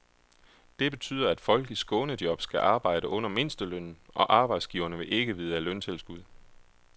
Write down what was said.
Det betyder, at folk i skånejob skal arbejde under mindstelønnen, og arbejdsgiverne vil ikke vide af løntilskud.